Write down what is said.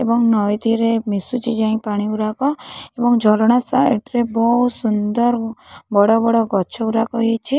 ଏବଂ ନଈତୀରେ ମିଶୁଚି ଯାଇ ପାଣି ଉରାକ ଏବଂ ଝରଣା ସାଇଡ୍ ରେ ବୋହୂ ସୁନ୍ଦର୍ ବଡ଼ ବଡ଼ ଗଛ ଉରାକ ହେଇଚି।